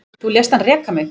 Þú lést hann reka mig